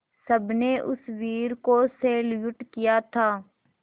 सबने उस वीर को सैल्यूट किया था